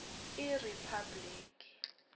iriphabliki